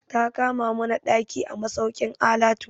Ta kama mana ɗaki a masaukin alatu.